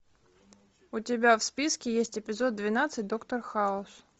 у тебя в списке есть эпизод двенадцать доктор хаус